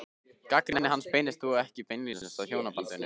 Gagnrýni hans beinist þó ekki beinlínis að hjónabandinu.